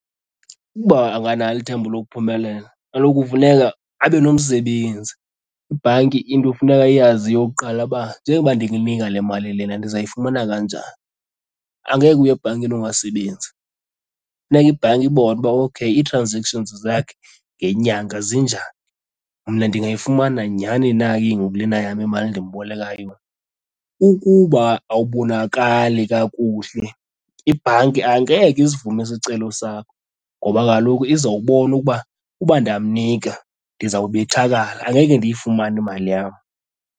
Ukuba akanalo ithemba lokuphumelela kaloku kufuneka abe nomsebenzi. Ibhanki into ekufuneka iyazi eyokuqala uba njengokuba ndininika le mali lena ndizayifumana kanjani, angeke uye ebhankini ungasebenzi. Funeka ibhanki ibone uba okheyi ii-transactions zakhe ngenyanga zinjani, mna ndingayifumana nyhani na ke ngoku lena yam imali ndimboleka yona. Ukuba awubonakali kakuhle ibhanki angeke isivume isicelo sakho ngoba kaloku izawubona ukuba uba ndamnika ndizobethakala angeke ndiyifumane imali yam.